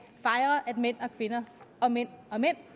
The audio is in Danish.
mænd og kvinder og mænd og mænd